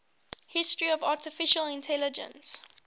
history of artificial intelligence